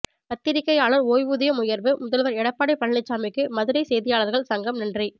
பத்திரிகையாளர் ஓய்வூதியம் உயர்வு முதல்வர் எடப்பாடி பழனிச்சாமிக்கு மதுரை செய்தியாளர்கள் சங்கம் நன்றி